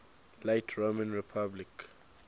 late roman republic